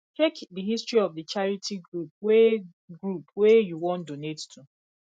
check di history of di charity group wey group wey you wan donate to